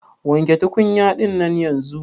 Wanke tukunya dinnan yanzun.